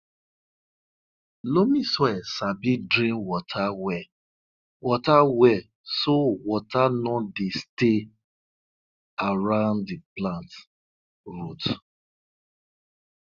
loamy soil sabi drain water well water well so water no dey stay around di plant root